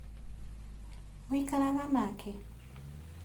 Mũikaraga nake?